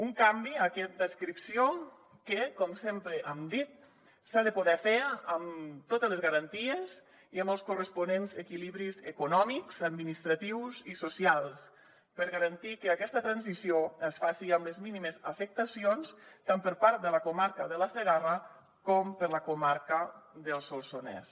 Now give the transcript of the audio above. un canvi aquest d’adscripció que com sempre hem dit s’ha de poder fer amb totes les garanties i amb els corresponents equilibris econòmics administratius i socials per garantir que aquesta transició es faci amb les mínimes afectacions tant per part de la comarca de la segarra com de la comarca del solsonès